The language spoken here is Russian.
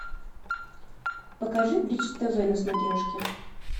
покажи бридж тв на смотрешке